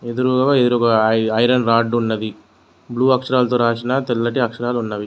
Iron rod ఉన్నవి blue అక్షరాలతో రాసిన తెల్లటి అక్షరాలు ఉన్నవి.